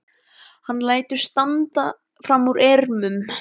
Hann lætur hendur standa fram úr ermum.